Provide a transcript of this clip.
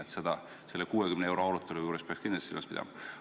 Nii et selle 60 euro arutelu juures peaks ka seda kindlasti silmas pidama.